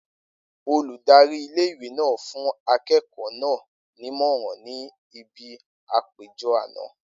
Oludari ìle-ìwe náà ń fún akẹ́kọ̀ọ́ náà nímọ̀ràn ní ibi àpéjọ àná.